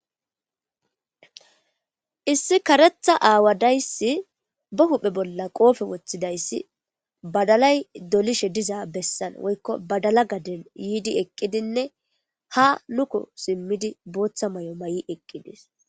Issi karetha aawadayssi ba huhphe bolla qoofe woththidayssi badalay dolishe diza bessan woykko badala gaden yiidi eqqidinne ha luko simmidi booththa may7o ma7i eqqidis.